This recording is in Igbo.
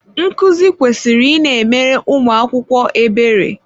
Nkuzi kwesịrị ị na-emere ụmụ akwụkwọ ebere.